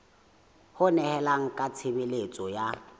ho nehelana ka tshebeletso ya